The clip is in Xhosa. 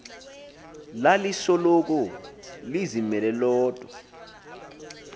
lalisoloko lizimele lodwa